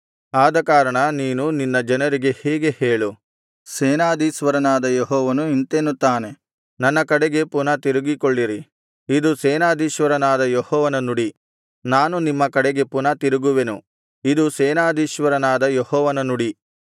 ಆದಕಾರಣ ನೀನು ನಿನ್ನ ಜನರಿಗೆ ಹೀಗೆ ಹೇಳು ಸೇನಾಧೀಶ್ವರನಾದ ಯೆಹೋವನು ಇಂತೆನ್ನುತ್ತಾನೆ ನನ್ನ ಕಡೆಗೆ ಪುನಃ ತಿರುಗಿಕೊಳ್ಳಿರಿ ಇದು ಸೇನಾಧೀಶ್ವರನಾದ ಯೆಹೋವನ ನುಡಿ ನಾನು ನಿಮ್ಮ ಕಡೆಗೆ ಪುನಃ ತಿರುಗುವೆನು ಇದು ಸೇನಾಧೀಶ್ವರನಾದ ಯೆಹೋವನ ನುಡಿ